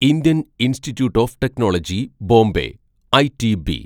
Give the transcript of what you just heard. Indian institute of technology Bombay (ITB)